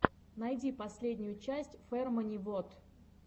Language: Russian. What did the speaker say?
найди последнюю часть фермани вот